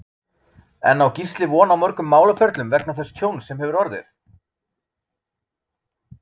En á Gísli von á mörgum málaferlum vegna þess tjóns sem hefur orðið?